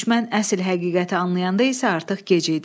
Düşmən əsl həqiqəti anlayanda isə artıq gec idi.